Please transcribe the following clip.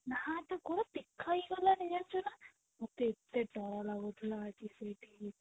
ନା ତା ଗୋଡ ଦେଖା ହି ଗଲାଣି ଜାଣିଛୁ ନା ମତେ ଏତେ ଦର ଲାଗୁଥିଲା ଆଜି ସେଠି